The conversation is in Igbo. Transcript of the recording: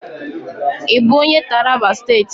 Ị bụ onye Taraba State?